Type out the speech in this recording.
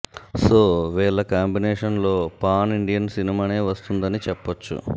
so వీళ్ల combination లో pan Indian సినిమానే వస్తుందని చెప్పొచ్చు